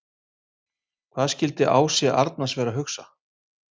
Hvað skildi Ási Arnars vera að hugsa?